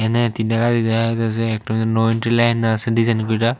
এখানে তিনটা গাড়ি দেখা যাইতাছে একটাতে নো এন্ট্রি লাইন আছে ডিজাইন করা।